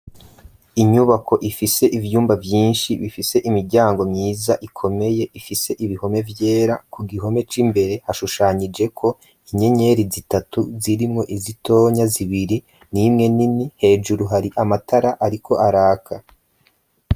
Inyubako ifise ivyumba vyinshi bifise imiryango mwiza ikomeye ifise ibihome vyera, ku gihome c'imbere hashushanijeko inyenyeri zitatu zirimwo izitonya zibiri n'imwe nini, hejuru hari amatara ariko araka.